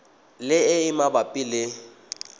le e e mabapi le